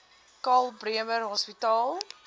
karl bremer hospitaal